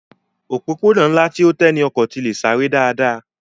Òpópónà ńlá tí ó tẹ́ ní ọkọ̀ tí le sáré dáadáa